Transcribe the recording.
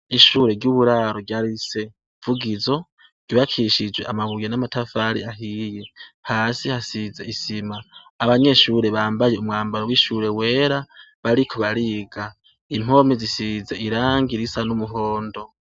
Ishure ry'Uburaro rya Rise Vugizo ryibakishijwe amabuye n'amatafari ahiye. Hasi hasize isima. Abanyeshure bambaye umwambaro w'ishure wera bariko bariga, impome zisize irangi risa n'umuhondo.